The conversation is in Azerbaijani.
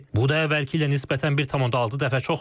bu da əvvəlki ilə nisbətən 1.6 dəfə çoxdur.